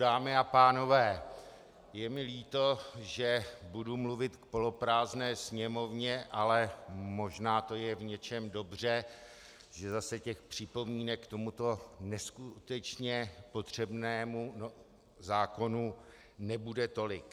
Dámy a pánové, je mi líto, že budu mluvit k poloprázdné Sněmovně, ale možná to je v něčem dobře, že zase těch připomínek k tomuto neskutečně potřebnému zákonu nebude tolik.